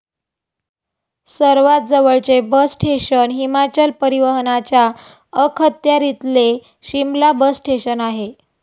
सर्वात जवळचे bus station Himachal परिवहनाच्या अखत्यारीतले 'शिमला' बस स्टेशन आहे.